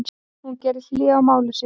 Hún gerði hlé á máli sínu.